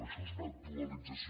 i això és una dualització